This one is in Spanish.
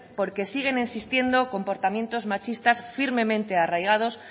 porque siguen existiendo comportamientos machistas firmemente arraigados